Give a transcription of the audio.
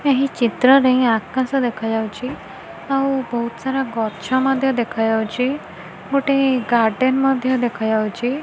ଏହି ଚିତ୍ର ରେ ଆକାଶ ଦେଖାଯାଉଚି ଆଉ ବହୁତ ସାରା ଗଛ ମଧ୍ୟ ଦେଖାଯାଉଚି ଗୋଟେ ଗାର୍ଡେନ ମଧ୍ୟ ଦେଖାଯାଉଚି।